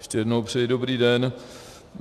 Ještě jednou přeji dobrý den.